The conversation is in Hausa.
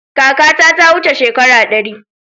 Kakata ta wuce shekara ɗari.